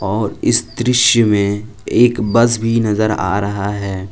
और इस दृश्य में एक बस भी नज़र आ रहा है।